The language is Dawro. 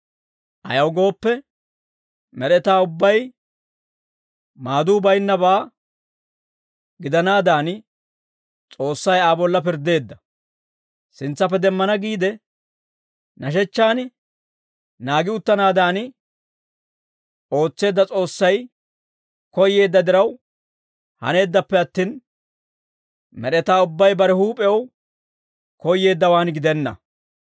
Ayaw gooppe, med'etaa ubbay maaduu baynnabaa gidanaadan, S'oossay Aa bolla pirddeedda; sintsappe demmana giide nashechchaan naagi uttanaadan ootseedda S'oossay koyyeedda diraw haneeddappe attin, med'etaa ubbay bare huup'ew koyyeeddawaan gidenna.